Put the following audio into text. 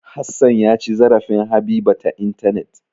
Hassan ya ci zarafin Habiba ta intanet.